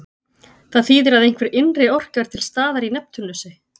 Það þýðir að einhver innri orka er til staðar í Neptúnusi.